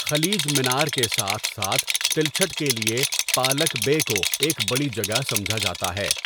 خلیج منار کے ساتھ ساتھ تلچھٹ کے لیے پالک بے کو ایک بڑی جگہ سمجھا جاتا ہے۔